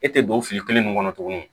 E tɛ don fili kelen nin kɔnɔ tuguni